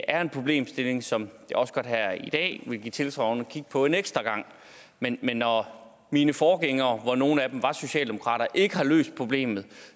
er en problemstilling som jeg også godt her i dag vil give tilsagn om at kigge på en ekstra gang men når mine forgængere hvoraf nogle var socialdemokrater ikke har løst problemet